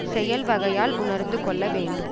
செயல்வகையால் உணர்ந்துகொள்ள வேண்டும்